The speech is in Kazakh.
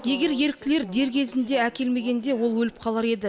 егер еріктілер дер кезінде әкелмегенде ол өліп қалар еді